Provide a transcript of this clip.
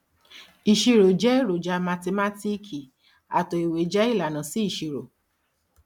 ìṣirò jẹ eroja mathimátíìkì àtò ìwé jẹ ilànà sí ìṣirò